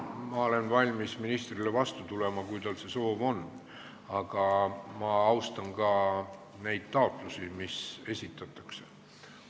Ma olen valmis ministrile vastu tulema, kui tal see soov on, aga ma austan ka neid taotlusi, mis esitatakse.